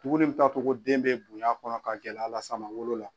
Duguni min t'a to ko den bɛ bony'a kɔnɔ ka gɛlɛya las'a ma wolo la.